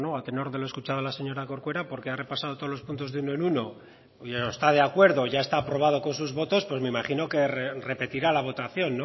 a tenor de lo escuchado a la señora corcuera porque ha repasado todos los puntos de uno en uno y está de acuerdo ya está aprobado con sus votos pues me imagino que repetirá la votación